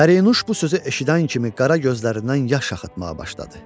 Pərinüş bu sözü eşidən kimi qara gözlərindən yaş axıtmağa başladı.